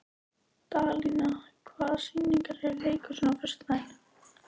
Dalía, hvaða sýningar eru í leikhúsinu á föstudaginn?